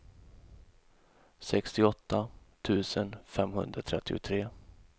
sextioåtta tusen femhundratrettiotre